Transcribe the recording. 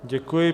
Děkuji.